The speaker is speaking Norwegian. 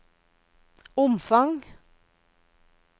omfang